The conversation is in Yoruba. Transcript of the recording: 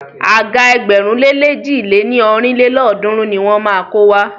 Àga ẹgbẹ̀rún lé lèjì lé ní ọ́rin lélọ́ọ̀dúnrún ni wọ́n má a kó wá.